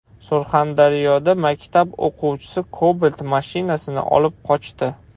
Surxondaryoda maktab o‘quvchisi Cobalt mashinasini olib qochdi.